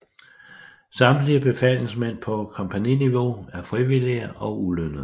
Samtlige befalingsmænd på kompagniniveau er frivillige og ulønnede